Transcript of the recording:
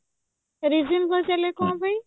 reason ପଚାରିଲେ କଣ ପାଇଁ